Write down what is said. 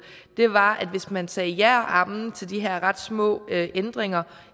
var at hvis man sagde ja og amen til de her ret små ændringer